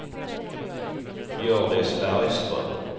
Hjördis Bergström